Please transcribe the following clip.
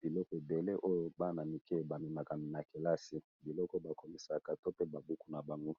biloko ébélé ya kelasi ya bana